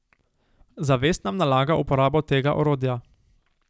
Zavest nam nalaga uporabo tega orodja.